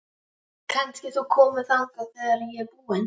Kannski þú komir þangað þegar ég er búin?